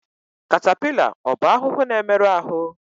Katapila ọ bụ ahụhụ na-emerụ ahụ?